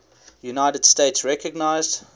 united states recognized